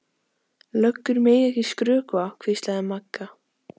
Löggur mega ekki skrökva, hvíslaði Magga.